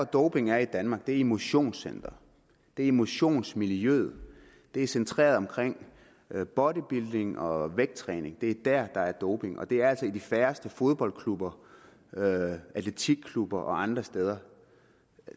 doping er i danmark er i motionscenteret det er i motionsmiljøet og det er centreret omkring bodybuilding og vægttræning det er der der er doping det er altså i de færreste fodboldklubber atletikklubber og andre steder